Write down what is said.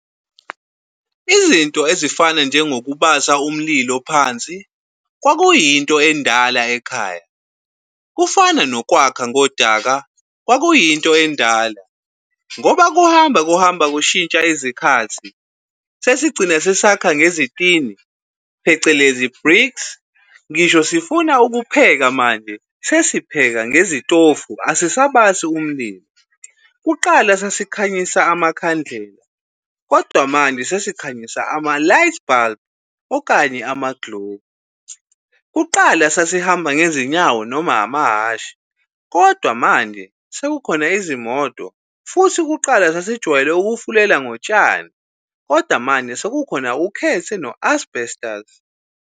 Izinto ezifana njengokubasa umlilo phansi kwakuyinto endala ekhaya, kufana nokwakha ngodaka kwakuyinto endala. Ngoba kuhamba kuhamba kushintsha izikhathi sesigcina sesakha ngezitini phecelezi bricks, ngisho sifuna ukupheka manje sesipheka ngezitofu asisabasi umlilo. Kuqala sasikhanyisa amakhandlela kodwa manje sesikhanyisa ama-light bulb okanye ama-globe. Kuqala sasihamba ngezinyawo noma amahhashi, kodwa manje sekukhona izimoto, futhi kuqala sasijwayele ukufulela ngotshani kodwa manje sekukhona ukhethe no-asbhestazi.